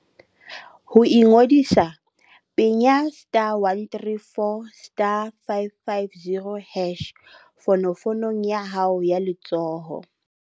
Ho ingodisa, penya *134*550# fonofonong ya hao ya letsoho.